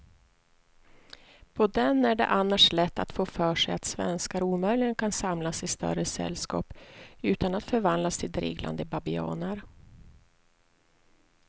På den är det annars lätt att få för sig att svenskar omöjligen kan samlas i större sällskap utan att förvandlas till dreglande babianer.